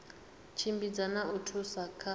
tshimbidza na u thusa kha